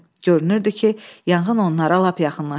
Görünürdü ki, yanğın onlara lap yaxınlaşıb.